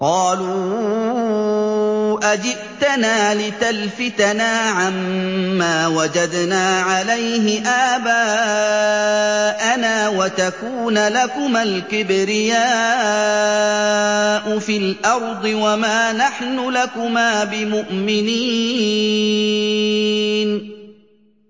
قَالُوا أَجِئْتَنَا لِتَلْفِتَنَا عَمَّا وَجَدْنَا عَلَيْهِ آبَاءَنَا وَتَكُونَ لَكُمَا الْكِبْرِيَاءُ فِي الْأَرْضِ وَمَا نَحْنُ لَكُمَا بِمُؤْمِنِينَ